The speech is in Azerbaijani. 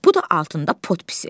Bu da altında potpis.